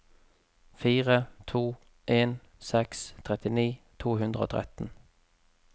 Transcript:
fire to en seks trettini to hundre og tretten